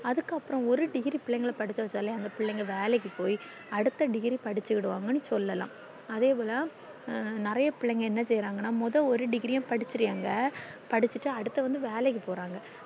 அதுக்கு அப்புறம் ஒரு degree பிள்ளைகள படிக்க வச்சாலே அந்த பிள்ளைங்க வேலைக்கு போய் அடுத்த degree படிச்சிடுவாங்கனு சொல்லலாம் அதே போல ஹம் நெறைய பிள்ளைங்க என்ன செய்றாங்கான மொத ஒரு degree படிச்சிரங்க படிச்சிட்டு அடுத்தது வேலைக்கு போறாங்க